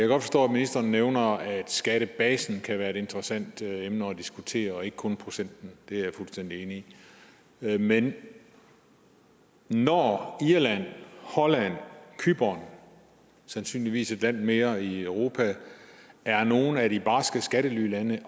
godt forstå at ministeren nævner at skattebasen kan være et interessant emne at diskutere og ikke kun procenten det er jeg fuldstændig enig i men når irland holland cypern og sandsynligvis et land mere i europa er nogle af de barske skattelylande i